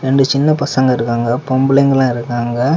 ரெண்டு சின்ன பசங்க இருக்காங்க பொம்பளைங்க எல்லா இருக்காங்க.